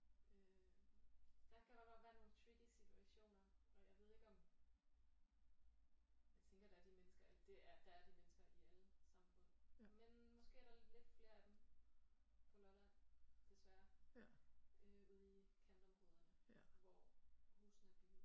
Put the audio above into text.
Øh der kan der godt være nogle tricky situationer og jeg ved ikke om jeg tænker der er de mennesker eller det er der er de mennesker i alle samfund men måske er der lidt flere af dem på Lolland desværre øh ude i kantområderne hvor husene er billige